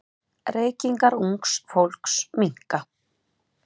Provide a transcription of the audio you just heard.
Reykingar ungs fólks minnka.